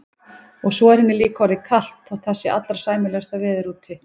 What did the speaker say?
Og svo er henni líka orðið kalt þótt það sé allra sæmilegasta veður úti.